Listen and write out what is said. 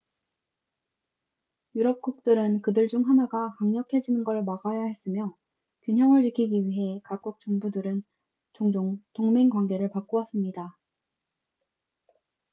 유럽국들은 그들 중 하나가 강력해지는 걸 막아야 했으며 균형을 지키기 위해 각국 정부들은 종종 동맹관계를 바꾸었습니다